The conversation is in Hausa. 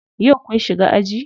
Yau kun shiga aji?